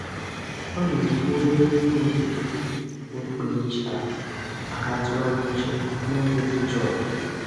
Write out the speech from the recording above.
Ọ na-ebu obere ihe odide okpukperechi ahụ maka ntụgharị uche n'oge dị jụụ.